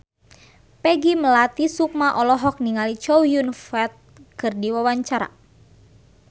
Peggy Melati Sukma olohok ningali Chow Yun Fat keur diwawancara